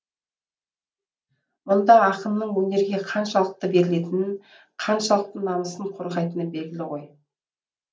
мұнда ақынның өнерге қаншалықты берілетінін қаншалықты намысын қорғайтыны белгілі тұр ғой